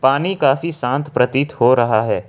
पानी काफी शांत प्रतीत हो रहा है।